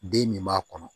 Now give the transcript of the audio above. Den min b'a kɔnɔ